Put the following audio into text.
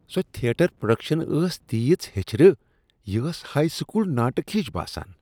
سۄ theatre production ٲس تیٖژ ہیچھرٕ ۔ یہ ٲس ہایی سکول ناٹک ہِش باسان ۔